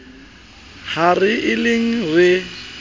ha re e lemeng re